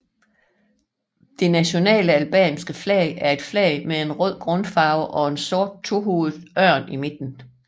Det nationale albanske flag er et flag med en rød grundfarve og en sort tohovedet ørn i midten